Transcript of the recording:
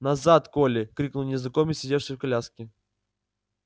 назад колли крикнул незнакомец сидевший в коляске